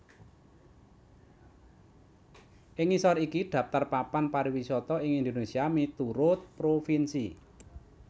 Ing ngisor iki dhaptar papan pariwisata ing Indonésia miturut provinsi